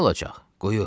Nə olacaq?